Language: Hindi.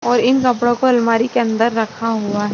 इन कपड़ों को अलमारी के अंदर रखा हुआ है।